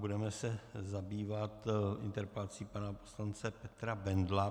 Budeme se zabývat interpelací pana poslance Petra Bendla.